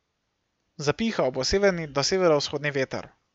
Zapihal bo severni do severovzhodni veter.